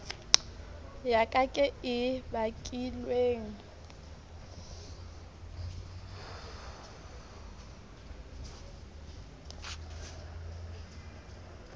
ya ka ke e bakilweng